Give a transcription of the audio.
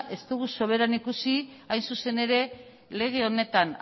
ez dugu soberan ikusi hain zuzen ere lege honetan